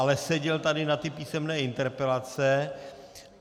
Ale seděl tady na ty písemné interpelace.